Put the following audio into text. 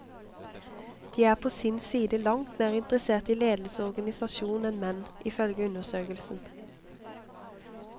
De er på sin side langt mer interessert i ledelse og organisasjon enn menn, ifølge undersøkelsen.